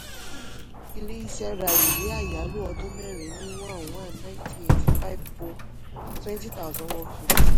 ilé-isẹ́ ra ìwé àyálò ọdún mẹ́rin ní one one ninety eighty-five twenty thousand one fifty.